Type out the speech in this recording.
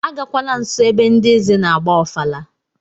Agakwala nso ebe ndị eze na-agba ofala!